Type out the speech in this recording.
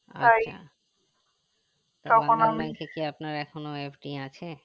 আচ্ছা bandhan bank এ কি আপনার এখনো FD আছে